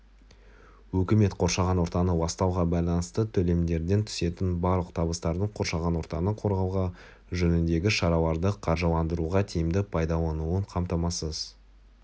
үкімет қоршаған ортаны ластауға байланысты төлемдерден түсетін барлық табыстардың қоршаған ортаны қорғау жөніндегі шараларды қаржыландыруға тиімді пайдаланылуын қамтамасыз